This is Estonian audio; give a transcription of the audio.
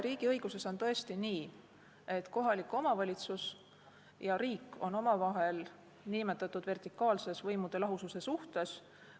Riigiõiguses on tõesti nii, et kohalik omavalitsus ja riik on omavahel nn vertikaalses võimude lahususe suhtes.